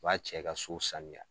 b'a cɛ ka so saniya.